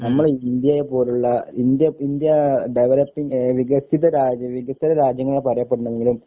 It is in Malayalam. നമ്മള് ഇന്ത്യയെപ്പോലുള്ള ഇന്ത്യ ഇന്ത്യാഡെവലപ്പിങ് ഏഹ് വികസിതരാജ്യ വികസനരാജ്യങ്ങളെ പറയപ്പെടണമെങ്കിലും